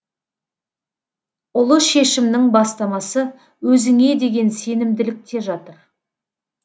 ұлы шешімнің бастамасы өзіңе деген сенімділікте жатыр